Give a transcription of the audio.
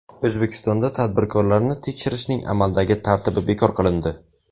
O‘zbekistonda tadbirkorlarni tekshirishning amaldagi tartibi bekor qilindi.